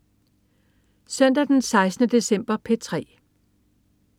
Søndag den 16. december - P3: